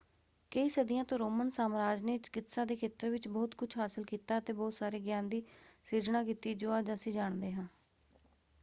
ਕਈ ਸਦੀਆਂ ਤੋਂ ਰੋਮਨ ਸਾਮਰਾਜ ਨੇ ਚਿਕਿਤਸਾ ਦੇ ਖੇਤਰ ਵਿੱਚ ਬਹੁਤ ਕੁਝ ਹਾਸਲ ਕੀਤਾ ਅਤੇ ਬਹੁਤ ਸਾਰੇ ਗਿਆਨ ਦੀ ਸਿਰਜਣਾ ਕੀਤੀ ਜੋ ਅੱਜ ਅਸੀਂ ਜਾਣਦੇ ਹਾਂ।